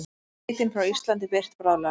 Skeytin frá Íslandi birt bráðlega